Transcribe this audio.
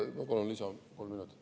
Ma palun lisaaega, kolm minutit.